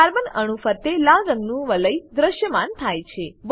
carbon અણુઓ ફરતે લાલ રંગનું વલય દ્રશ્યમાન થાય છે